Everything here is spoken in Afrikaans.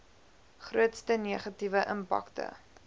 grootste negatiewe impakte